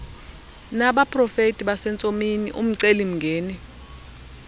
nabaprofeti basentsomini umcelimngeni